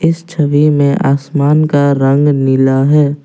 इस छवि में आसमान का रंग नीला है ।